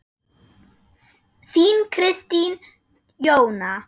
Þín Kristín Jóna.